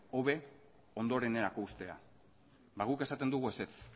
hobe ondorenerako uztea ba guk esaten dugu ezetz